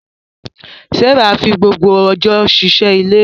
Sarah fi gbogbo ọjọ́ ṣe iṣẹ́ ilé.